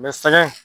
sɛgɛn